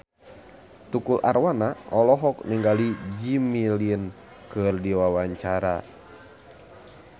Tukul Arwana olohok ningali Jimmy Lin keur diwawancara